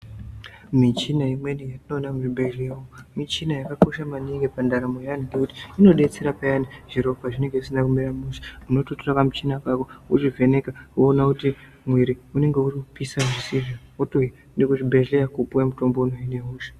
Michina imweni yatinoona muzvibhedhleya michina yakakosha maningi pandaramo yeanthu ngekuti inodetsera peyani zviro pazvinenge zvisina kumira mushe unototora kamuchina kako wotovheneka woona kuti mumwiri unenge uri kupisha ere wotoenda kuchibhedhleya kupuwe mutombo kana uine hosha.